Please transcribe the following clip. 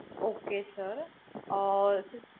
Okay sir. Uh